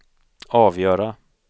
avgöra